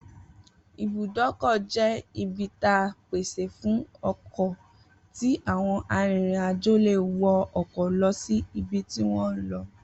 Ibùdókò̩ jé̩ ibi ta pèsè fún o̩kò̩ tí àwo̩n arìnrìnàjò lè wo̩ o̩kò̩ lo̩ sí ibi tí wó̩n ń lo̩